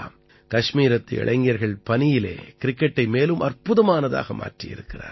கஷ்மீரத்து இளைஞர்கள் பனியிலே கிரிக்கெட்டை மேலும் அற்புதமானதாக மாற்றியிருக்கிறார்கள்